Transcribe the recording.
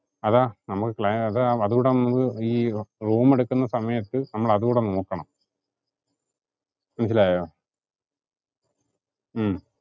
അതാ നമുക്ക് അതുടെ നമുക്ക് അത് ഈ room എടുക്കുന്ന സമയത്തു നമ്മൾ അതുടെ നോക്കണം. മനസ്സിലായോ? ഉം